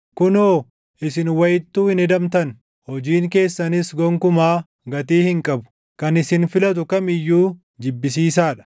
Kunoo isin wayittuu hin hedamtan; hojiin keessanis gonkumaa gatii hin qabu; kan isin filatu kam iyyuu jibbisiisaa dha.